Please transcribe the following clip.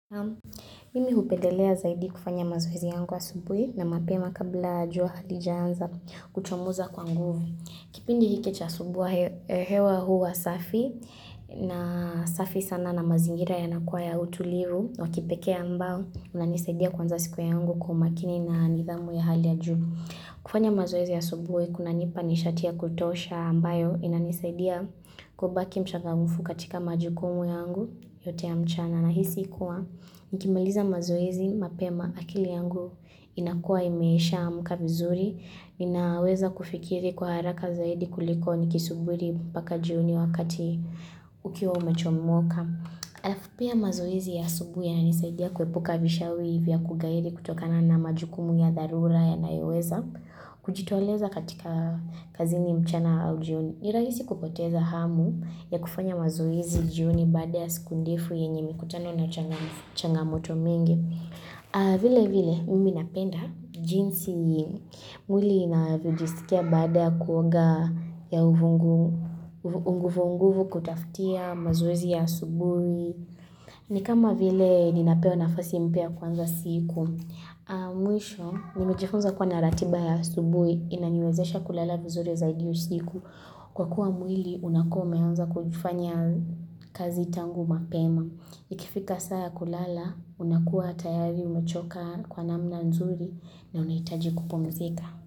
Mimi hupedelea zaidi kufanya mazoezi yangu asubuhi na mapema kabla jua halijaanza kuchomoza kwa nguvu. Kipindi hiki cha asubuhi hewa huwa safi na safi sana na mazingira yanakuwa ya utulivu. Wa kipekee ambao unanisaidia kuanza siku yangu kwa umakini na nidhamu ya hali ya juu. Kufanya mazoezi asubuhi kunanipa nishati ya kutosha ambayo inanisaidia kubaki mchangamfu katika majukumu yangu yote ya mchana. Nahisi kuwa nikimaliza mazoezi mapema akili yangu inakua imeshamka vizuri. Ninaweza kufikiri kwa haraka zaidi kuliko nikisuburi paka jioni wakati ukiwa umechomoka. Halafu pia mazoezi ya asubuhi yananisaidia kuepuka vishawi vya kughairi kutokana na majukumu ya dharura yanayoweza. Kujitoleza katika kazini mchana au jioni. Ni rahisi kupoteza hamu ya kufanya mazoezi jioni baada ya siku ndefu yenye mikutano na changamoto mingi. Vile vile, mimi napenda jinsi mwili inavyojisikia baada ya kuoga ya uvungu unguvu unguvu kutafutia mazoezi ya asubuhi. Ni kama vile ninapewa nafasi mpya ya kuanza siku. Mwisho, nimejifunza kuwa na ratiba ya asubuhi inaniwezesha kulala vizuri zaidi usiku Kwa kuwa mwili, unakuwa umeanza kujifanya kazi tangu mapema Ikifika saa ya kulala, unakuwa tayari, umechoka kwa namna nzuri na unahitaji kupumzika.